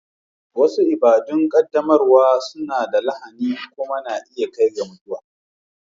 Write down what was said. Wasu ibada'n qaddamarwa suna da lahani kuma na iya kai ga mutuwa.